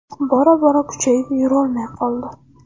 Bora bora kuchayib yurolmay qoldi.